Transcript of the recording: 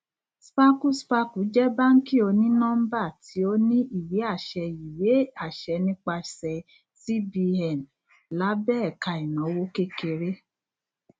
sparkle sparkle jẹ báàǹkì onínọmbà tí ó ní ìwé àṣẹ ìwé àṣẹ nípasẹ cbn lábẹ ẹka ìnáwó kékeré